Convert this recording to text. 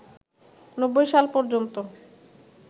৯০ সাল পর্যন্ত